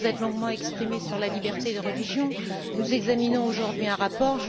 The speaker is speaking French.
Vous vous êtes longuement exprimé sur la liberté de religion. Nous examinons aujourd'hui un rapport.